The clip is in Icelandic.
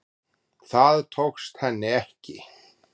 Það tókst henni ekki